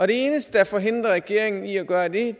det eneste der forhindrer regeringen i at gøre det